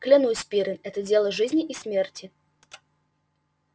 клянусь пиренн это дело жизни и смерти